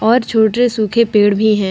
और छोटे सूखे पेड़ भी है ।